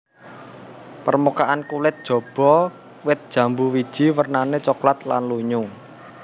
Permukaan kulit jaba wit jambu wiji wernané coklat lan lunyu